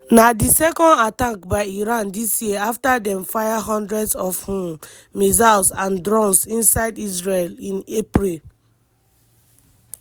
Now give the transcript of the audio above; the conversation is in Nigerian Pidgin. na di second attack by iran dis year afta dem fire hundreds of um missiles and drones inside israel in april.